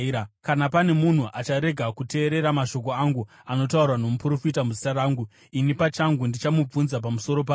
Kana pane munhu acharega kuteerera mashoko angu anotaurwa nomuprofita muzita rangu, ini pachangu ndichamubvunza pamusoro pazvo.